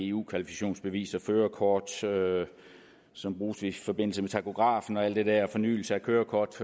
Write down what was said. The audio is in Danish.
eu kvalifikationsbeviser førerkort som bruges i forbindelse med tachografen og alt det der fornyelse af kørekort